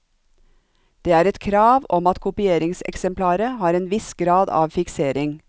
Det er et krav om at kopieringseksemplaret har en viss grad av fiksering.